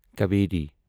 Kaveri